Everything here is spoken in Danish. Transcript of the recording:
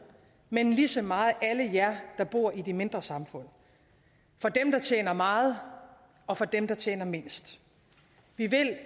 men lige så meget alle jer der bor i de mindre samfund for dem der tjener meget og for dem der tjener mindst vi vil